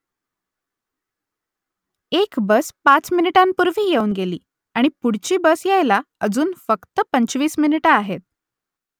एक बस पाच मिनिटांपूर्वी येऊन गेली आणि पुढची बस यायला अजून फक्त पंचवीस मिनिटं आहेत